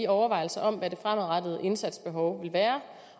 overvejelserne om hvad det fremadrettede indsatsbehov vil være